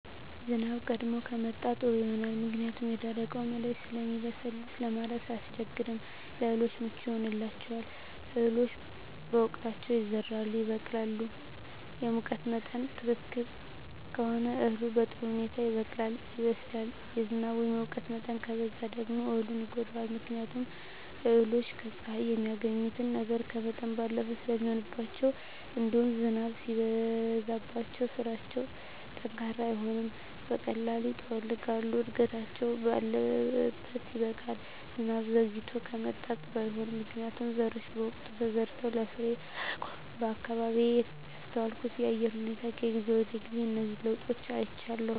ዝናብ ቀድሞ ከመጣ ጥሩ ይሆናል ምክንያቱም የደረቀዉ መሬት ስለሚለሰልስ ለማረስ አያስቸግርም ለእህሉ ምቹ ይሆንለታል እህሎች በወቅታቸዉ ይዘራሉ ይበቅላሉ እና ሙቀት መጠን ትክክል ከሆነ እህሉ በጥሩ ሁኔታ ይበቅላል ይበስላል የዝናብ ወይም የሙቀት መጠን ከበዛ ደግሞ እህሉን ይጎዳዋል ምክንያቱም እህሎች ከፀሐይ የሚያገኙትን ነገር ከመጠን ባለፈ ስለሚሆንባቸዉእንዲሁም ዝናብም ሲበዛባቸዉ ስራቸዉ ጠንካራ አይሆንም በቀላሉ ይጠወልጋሉ እድገታቸዉ ባለት ያበቃል ዝናብ ዘይግቶ ከመጣም ጥሩ አይሆንም ምክንያቱም ዘሮች በወቅቱ ተዘርተዉ ለፍሬየአየር አይበቁም በአካባቢየ ያስተዋልኩት የአየር ሁኔታ ከጊዜ ወደጊዜ እነዚህን ለዉጦች አይቻለሁ